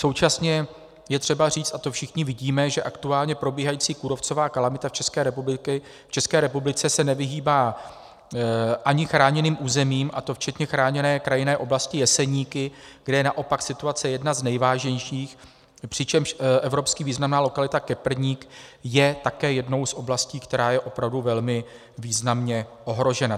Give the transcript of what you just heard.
Současně je třeba říct, a to všichni vidíme, že aktuálně probíhající kůrovcová kalamita v České republice se nevyhýbá ani chráněným územím, a to včetně Chráněné krajinné oblasti Jeseníky, kde je naopak situace jedna z nejvážnějších, přičemž evropsky významná lokalita Keprník je také jednou z oblastí, která je opravdu velmi významně ohrožena.